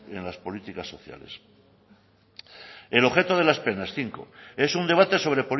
en las políticas sociales cinco el objeto de las penas